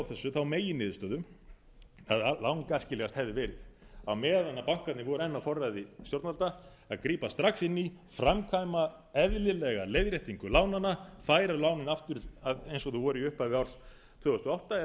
þau þá megin niðurstöðu að lang æskilegast hefði verið að á meðan bankarnir voru enn á forræði stjórnvalda að grípa strax inn í framkvæma eðlilega leiðréttingu lánanna færa lánin aftur eins og þau voru í upphafi árs tvö þúsund og átta eða